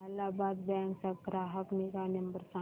Allahabad bank चा ग्राहक निगा नंबर सांगा